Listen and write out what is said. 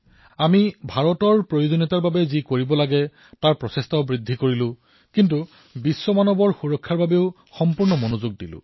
আমি ভাৰতৰ আৱশ্যকতাৰ বাবে যি কৰিবলগীয়া আছিল সেই প্ৰয়াসসমূহক বঢ়োৱাৰ লগতে বিশ্বত গুঞ্জৰিত মানৱতাৰ ৰক্ষাৰ আহ্বানকো ধ্যান দিলো